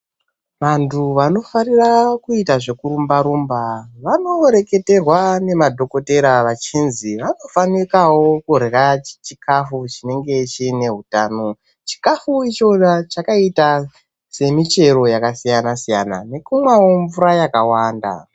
Vantu vanofarira kuita zvekurumba rumba vanorwketerwa nemadhokodheya vachinzi vanofanika kurya chikafu mukurya chikafu chinenge chine hutano chikafu ichona chakaita semichero yakasiyana siyana nekukwawo mvura yakawanda.